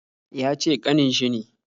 Yace kanin shi ne